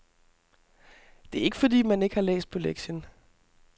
Det er ikke fordi, man ikke har læst på lektien.